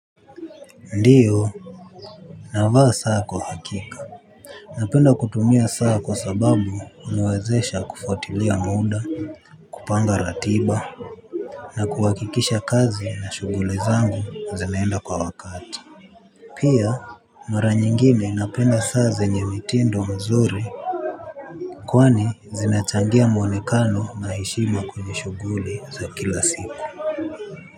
Ndio navaa saa kwa hakika. Napenda kutumia saa kwa sababu huniwezesha kufuatilia muda, kupanga ratiba, na kuhakikisha kazi na shughuli zangu zinaenda kwa wakati. Pia mara nyingine napenda saa zenye mitindo nzuri. Kwani zinachangia mwonekano na heshima kwenye shughuli za kila siku.